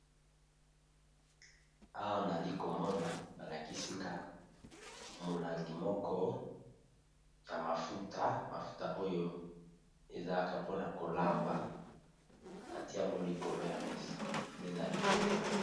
Awa tozali komona, balakisi ngai molangi ya mafuta oyo batiaka na biloko ya kolia